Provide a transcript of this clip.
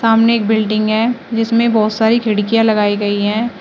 सामने एक बिल्डिंग है जिसमें बहोत सारी खिड़कियां लगाई गई है।